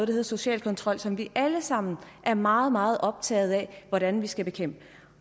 hedder social kontrol og som vi alle sammen er meget meget optagede af hvordan vi skal bekæmpe